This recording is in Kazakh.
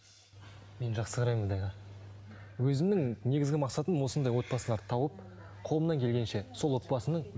мен жақсы қараймын мұндайға өзімнің негізгі мақсатым осындай отбасыларды тауып қолымнан келгенше сол отбасының